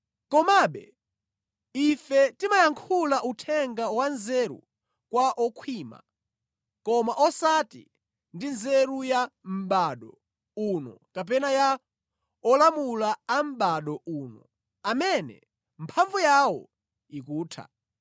Komabe ife timayankhula uthenga wa nzeru kwa okhwima, koma osati ndi nzeru ya mʼbado uno kapena ya olamula a mʼbado uno, amene mphamvu yawo ikutha.